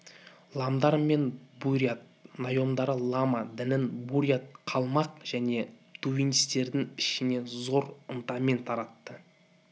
ламдар мен бурят нойондары лама дінін бурят калмақ және тувинстердің ішіне зор ынтамен таратты